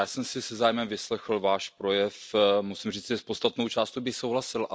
Já jsem si se zájmem vyslechl Váš projev. Musím říci, že s podstatnou částí bych souhlasil.